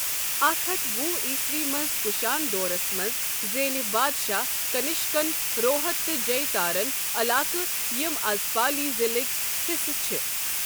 اکھ ہتھ وُہ عیسوی مَنٛز کُشان دورس منز زینہِ بادشاہ كنِشكن روہت تہٕ جیہ تارن علاقہٕ یِم از پالی ضِلٕكۍ حِصہٕ چھ۔